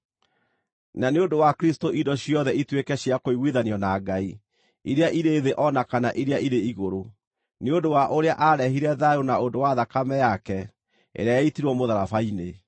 na nĩ ũndũ wa Kristũ indo ciothe ituĩke cia kũiguithanio na Ngai, iria irĩ thĩ o na kana iria irĩ igũrũ, nĩ ũndũ wa ũrĩa aarehire thayũ na ũndũ wa thakame yake, ĩrĩa yaitirwo mũtharaba-inĩ.